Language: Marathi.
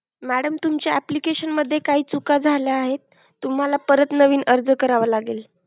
Madam तुमच्या appliction मध्ये काही चुका झाले आहेत, तुम्हाला परत नवीन अर्ज करावे लागेल.